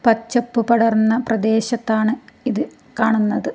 പച്ചപ്പ് പടർന്ന പ്രദേശത്താണ് ഇത് കാണുന്നത്.